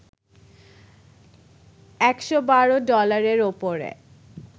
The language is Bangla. ১১২ ডলারের ওপরে